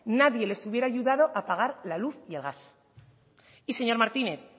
nadie les hubiera ayudado a pagar la luz y el gas y señor martínez